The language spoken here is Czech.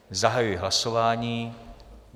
Zahajuji hlasování.